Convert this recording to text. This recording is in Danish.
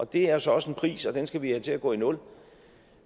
det er jo så også en pris og den skal vi have til at gå i nul